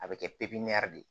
A bɛ kɛ pipiniyɛri de